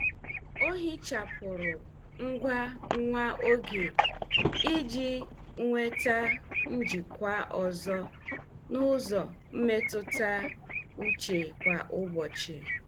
O hichapụrụ ngwa nwa oge iji nweta njikwa ọzọ n'ụzọ mmetụta uche kwa ụbọchị.